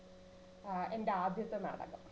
ആ എൻറെ ആദ്യത്തെ നാടകം.